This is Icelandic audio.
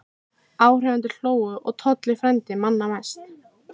Áhorfendur hlógu og Tolli frændi manna mest.